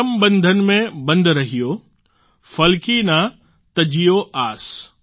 કરમ બંધન મેં બન્ધ રહિયો ફલ કી ના તજ્જિયો આસ